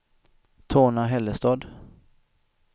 Torna-Hällestad